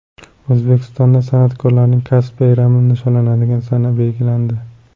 O‘zbekistonda san’atkorlarning kasb bayrami nishonlanadigan sana belgilandi.